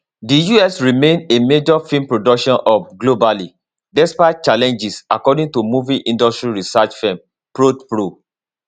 di us remain a major film production hub globally despite challenges according to movie industry research firm prodpro